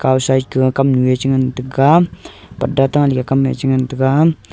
kaw side ka kamnue chengan taiga pudda ta leka kamme chengan taiga.